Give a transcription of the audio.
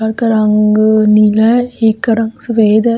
घर का रंग नीला है एक का रंग सफेद है।